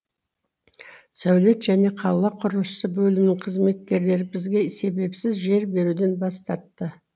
сәулет және қала құрылысы бөлімінің қызметкерлері бізге себепсіз жер беруден бас тартты